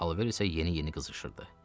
Alver isə yeni-yeni qızışırdı.